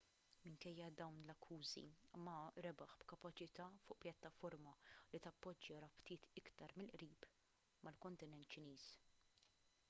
minkejja dawn l-akkużi ma rebaħ b'kapaċità fuq pjattaforma li tappoġġja rabtiet iktar mill-qrib mal-kontinent ċiniż